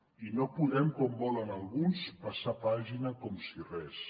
i no podem com volen alguns passar pàgina com si res